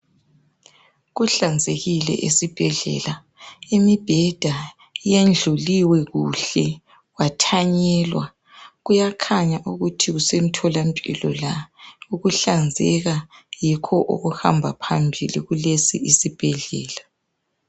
Kuhlanzekile esibhedlela imibheda yendluliwe kuhle kwathanyelwa. Kuyakhanya ukuthi kusemtholampilo la ukuhlanzeka yikho okuhamba phambili kulesi isibhedlela